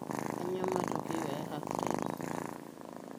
Kanyioo matokeo e half time?